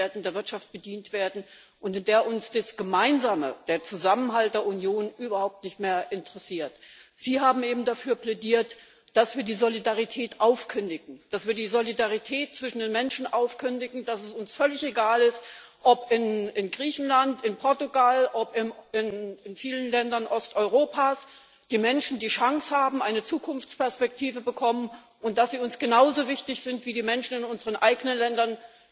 und der Wirtschaft bedient werden und in der uns das Gemeinsame der Zusammenhalt der Union überhaupt nicht mehr interessiert. Sie haben eben dafür plädiert, dass wir die Solidarität zwischen den Menschen aufkündigen, dass es uns völlig egal ist, ob in Griechenland, in Portugal, in vielen Ländern Osteuropas die Menschen die Chance haben, eine Zukunftsperspektive zu bekommen, und dass sie uns nicht genauso wichtig sind, wie die Menschen in unseren eigenen Ländern,